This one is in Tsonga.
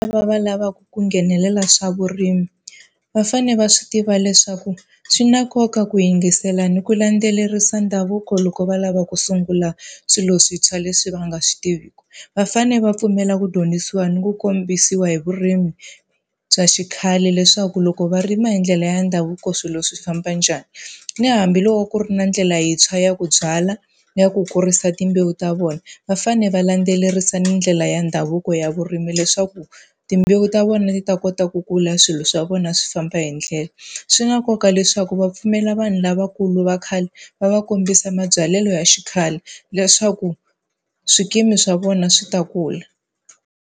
Lava va lavaku ku nghenelela swa vurimi, va fanele va swi tiva leswaku swi na nkoka ku yingisela ni ku landzelerisa ndhavuko loko va lava ku sungula swilo swintshwa leswi va nga swi tiviku. Va fanele va pfumela ku dyondzisiwa ni ku kombisiwa hi vurimi bya xikhale leswaku loko va rima hi ndlela ya ndhavuko swilo swi famba njhani. Ni hambiloko ku ri na ndlela yintshwa ya ku byala na ku kurisa timbewu ta vona, va fanele va landzelerisa ni ndlela ya ndhavuko ya vurimi leswaku timbewu ta vona ti ta kota ku kula swilo swa vona swi famba hi ndlela. Swi na nkoka leswaku va pfumela vanhu lavakulu va khale, va va kombisa mabyalelo ya xikhale leswaku swikimi swa vona swi ta kula.